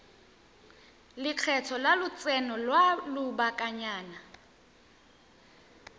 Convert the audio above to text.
lekgetho la lotseno lwa lobakanyana